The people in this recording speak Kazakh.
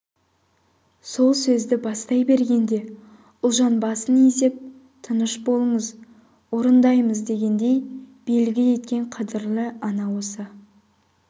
сол сөзді бастай бергенде ұлжан басын изеп тыныш болыңыз орындаймыз дегендей белгі еткен қадірлі ана осы